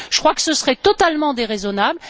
Je crois que ce serait totalement déraisonnable.